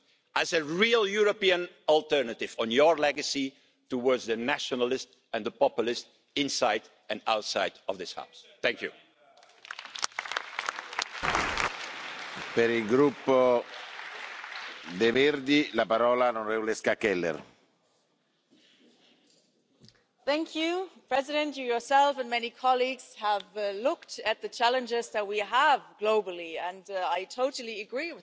about. It's an essence of policy making, and we need to renew this promise and build a social Europe, and one not just of nice declarations like we've seen from Gothenburg. We need not just nice intentions that's all very nice, but we need a social Europe with real facts and real figures. We need common minimum social standards in Europe. All citizens must get full access to social protection, to housing and to